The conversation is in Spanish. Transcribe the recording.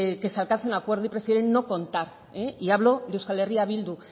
que se alcance un acuerdo y prefieren no contar y hablo de euskal herria bildu